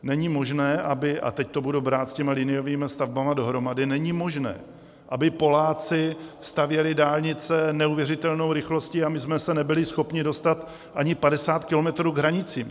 Není možné, aby - a teď to budu brát s těmi liniovými stavbami dohromady - není možné, aby Poláci stavěli dálnice neuvěřitelnou rychlostí, a my jsme se nebyli schopni dostat ani 50 km k hranicím.